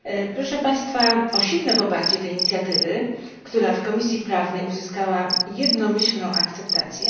Proszę Państwa o silne poparcie tej inicjatywy, która w Komisji Prawnej uzyskała jednomyślną akceptację.